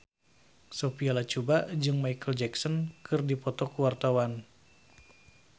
Sophia Latjuba jeung Micheal Jackson keur dipoto ku wartawan